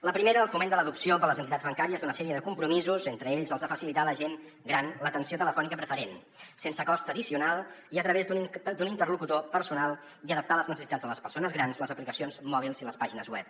la primera el foment de l’adopció per les entitats bancàries d’una sèrie de compromisos entre ells els de facilitar a la gent gran l’atenció telefònica preferent sense cost addicional i a través d’un interlocutor personal i adaptar a les necessitats de les persones grans les aplicacions mòbils i les pàgines web